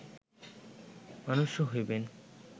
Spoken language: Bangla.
মনুষ্য হইবেন